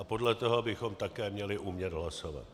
A podle toho bychom také měli umět hlasovat.